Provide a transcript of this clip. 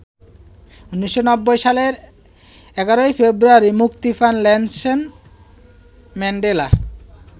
১৯৯০ সালের ১১ ফেব্রুয়ারি মুক্তি পান নেলসন ম্যান্ডেলা।